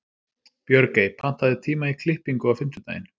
Björgey, pantaðu tíma í klippingu á fimmtudaginn.